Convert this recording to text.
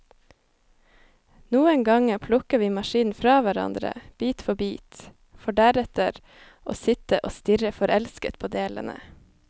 Noen ganger plukker vi maskinen fra hverandre, bit for bit, for deretter å sitte og stirre forelsket på delene.